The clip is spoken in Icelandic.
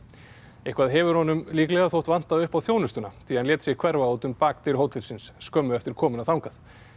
eitthvað hefur honum líklega þótt vanta upp á þjónustuna því hann lét sig hverfa út um bakdyr hótelsins skömmu eftir komuna þangað